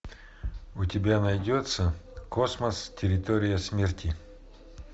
у тебя найдется космос территория смерти